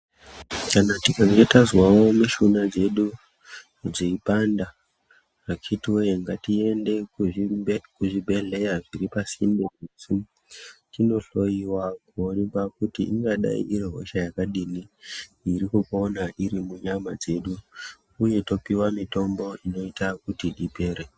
Kana tikange tanzwawo mushuna dzedu dzeyi panda akitiwe ngati ende ku zvibhedhleya zviri pasinde nesu tino hloyiwa kuonekwa kuti ingadai iri hosha yakadini iri kupona iri mu nyama dzedu uye topiwa mitombo inoita kuti ipere.